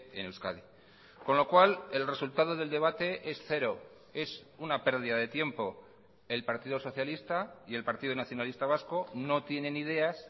en euskadi con lo cual el resultado del debate es cero es una pérdida de tiempo el partido socialista y el partido nacionalista vasco no tienen ideas